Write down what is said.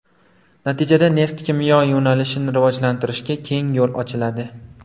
Natijada neft-kimyo yo‘nalishini rivojlantirishga keng yo‘l ochiladi.